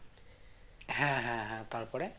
হ্যাঁ হ্যাঁ হ্যাঁ তারপরে